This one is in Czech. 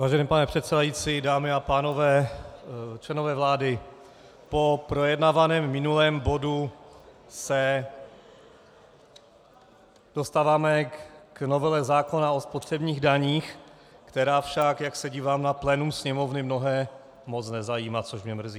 Vážený pane předsedající, dámy a pánové, členové vlády, po projednaném minulém bodu se dostáváme k novele zákona o spotřebních daních, která však, jak se dívám na plénum Sněmovny, mnohé moc nezajímá, což mě mrzí.